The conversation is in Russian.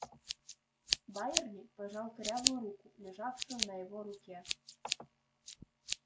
байерли пожал корявую руку лежавшую на его руке